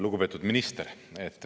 Lugupeetud minister!